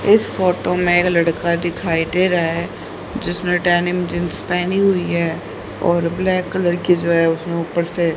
इस फोटो में एक लड़का दिखाई दे रहा है जिसने डेनिम जींस पहनी हुई है और ब्लैक कलर की जो है उसने ऊपर से--